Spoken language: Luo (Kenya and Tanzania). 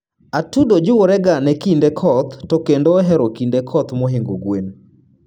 atudo jiworega ne kinde koth to kendo ohero kinde koth mohingo gwen